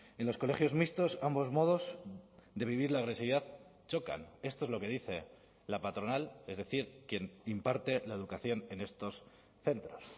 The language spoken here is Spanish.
en los colegios mixtos ambos modos de vivir la agresividad chocan esto es lo que dice la patronal es decir quien imparte la educación en estos centros